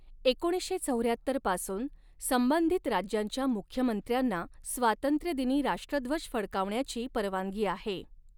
एकोणीसशे चौऱ्याहत्तर पासून संबंधित राज्यांच्या मुख्यमंत्र्यांना स्वातंत्र्यदिनी राष्ट्रध्वज फडकावण्याची परवानगी आहे.